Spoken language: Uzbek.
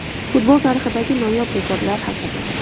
Futbol tarixidagi noyob rekordlar haqida.